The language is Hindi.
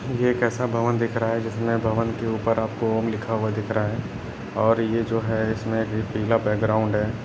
यह कैसा भवन दिखाई दे रहा है जिस भवन के ऊपर आपको ओम लिखा हुआ दिख रहा है बड़ा है और यह जो है इसमें भी पीला बैकग्राउंड है।